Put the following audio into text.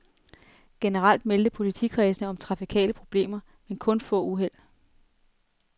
Generelt meldte politikredsene om trafikale problemer, men kun få uheld.